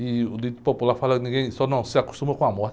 E o dito popular fala que ninguém só não se acostuma com a morte.